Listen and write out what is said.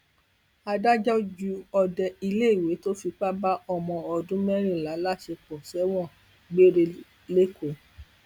adájọ ju òde iléèwé tó fipá bá ọmọ ọdún mẹrìnlá láṣepọ sẹwọn gbére lẹkọọ